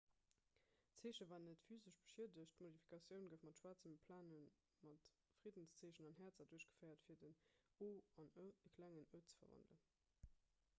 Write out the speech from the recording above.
d'zeeche war net physesch beschiedegt d'modifikatioun gouf mat schwaarze plane mat friddenszeechen an häerzer duerchgeféiert fir den o an e klengen e ze verwandelen